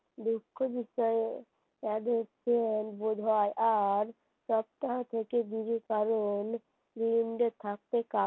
দুঃখ বিষয় এই হচ্ছে বোঝার আর সপ্তাহ থেকে দূরে কারণ থাকতে